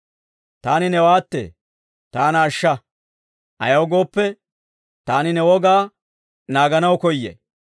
Taani newaattee; taana ashsha; ayaw gooppe, taani ne wogaa naaganaw koyay.